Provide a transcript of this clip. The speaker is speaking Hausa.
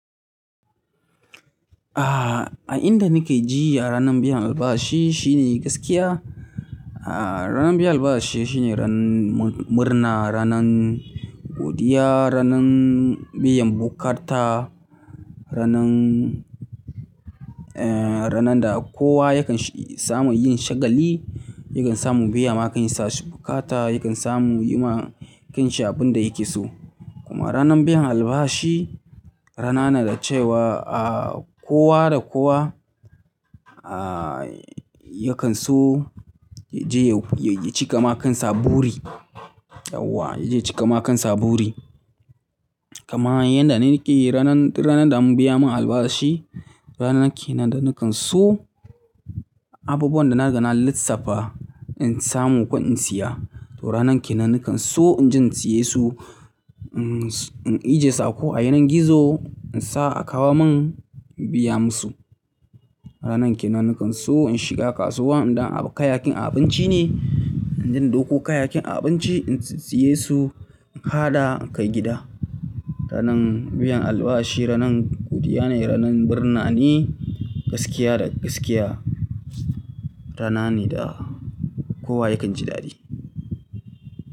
Ah, a inda nike ji ranar biyan albashi shine gaskiya. Ah, ranar biyan albashi shine ran murna, ranan godiya, ranan biyan bukata, ranan, eh, ranan da kowa yakan samu yin shagali, yakan samu biya makansa su bukata, yakan samu yiwa kanshi abun da yake so. Kuma ranar biyan albashi rana ne da cewa, ah, kowa da kowa, ah, yakan so ya je ya cika makan sa buri. Yawa, ya je ya ci kamakan sa buri. Kaman yanda nike ranan, duk ranan da an biya mun albashi, ranan kenan da nakan so abubuwan da na riga na lissafta in samu kudi in siya. To ranan kenan nakan so in je in siye su, in ije sako a yanin gizo, in sa a kawo mun, in biya musu. Ranan kenan nakan so in shiga kasuwa, idan kayakin abinci ne, in je in dauko kayakin abinci in siye su, in haɗa in kai gida. Ranan biyan albashi ranan godiya ne, ranan murna ne, gaskiya da gaskiya rana ne da kowa yakan ji dadi.